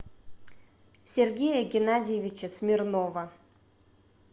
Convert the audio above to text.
сергея геннадьевича смирнова